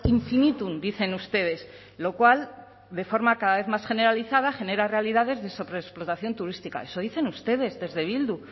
infinitum dicen ustedes lo cual de forma cada vez más generalizada genera realidades de sobreexplotación turística eso dicen ustedes desde bildu